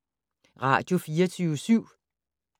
Radio24syv